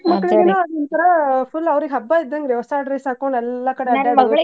ಚಿಕ್ಮಕ್ಕಳಿಗೇನೋ ಅದೋಂತರಾ full ಅವರೀಗ್ ಹಬ್ಬ ಇದ್ದಂಗ್ ರೀ ಹೊಸ dress ಹಾಕೊಂಡ್ ಎಲ್ಲಾ ಕಡೆ ಅಡ್ಯಾಡೋದು .